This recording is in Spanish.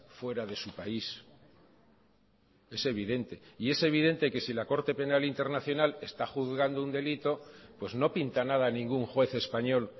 fuera de su país es evidente y es evidente que si la corte penal internacional está juzgando un delito pues no pinta nada ningún juez español